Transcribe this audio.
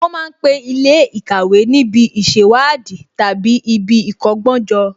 Wọ́n ma ń pe Ilé ìkàwé níbi ìṣèwádìí tàbí ibi ìkọ́gbọ́n jọ